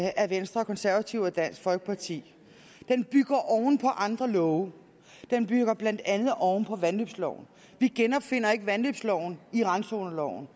af venstre konservative og dansk folkeparti den bygger oven på andre love den bygger blandt andet oven på vandløbsloven vi genopfinder ikke vandløbsloven i randzoneloven